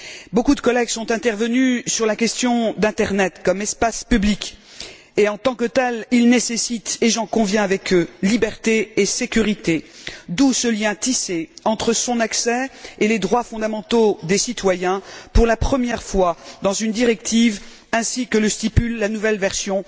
Beaucoup de collègues sont intervenus sur la question d'internet comme espace public, qui en tant que tel, nécessite et j'en conviens avec eux liberté et sécurité, d'où ce lien tissé entre son accessibilité et les droits fondamentaux des citoyens, pour la première fois, dans une directive, avec la nouvelle version